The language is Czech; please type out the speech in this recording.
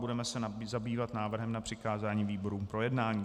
Budeme se zabývat návrhem na přikázání výborům k projednání.